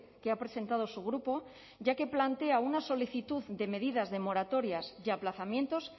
que ha presentado su grupo ya que plantea una solicitud de medidas de moratorias y aplazamientos